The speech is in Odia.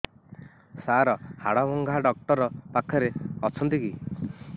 ସାର ହାଡଭଙ୍ଗା ଡକ୍ଟର ପାଖରେ ଅଛନ୍ତି କି